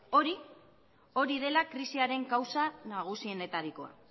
hori dela krisiaren kausa nagusienetarikoa